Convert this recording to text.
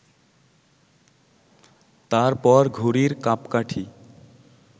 তার পর ঘুড়ির কাঁপকাঠি